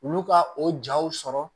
Olu ka o jaw sɔrɔ